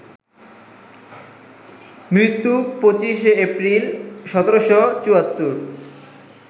মৃত্যু: ২৫ এপ্রিল, ১৭৭৪